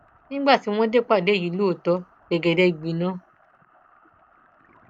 nígbà tí wọn dé ìpàdé yìí lóòótọ gbẹgẹdẹ gbiná